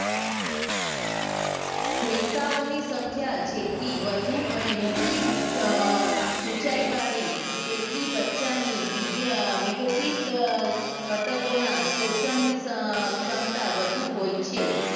રેસાઓ ની સંખ્યા જેટલી વધુ અને અમ મોટી ઊંચાઈવાળી જેટલી બચ્ચાને વીઘ અમ વિઘતિત ઘટકોના શોષણની ક્ષમતા વધુ હોય છે.